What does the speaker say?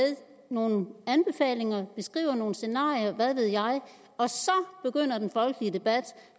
nogle anbefalinger og beskriver nogle scenarier hvad ved jeg og så begynder den folkelige debat